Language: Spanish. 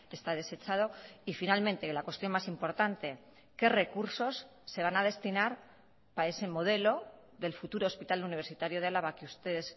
está desechado y finalmente la cuestión más importante qué recursos se van a destinar para ese modelo del futuro hospital universitario de álava que ustedes